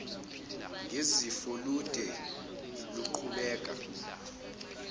ngezifo lude luguquka